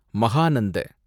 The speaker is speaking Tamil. மகானந்த